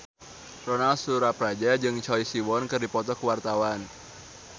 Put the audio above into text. Ronal Surapradja jeung Choi Siwon keur dipoto ku wartawan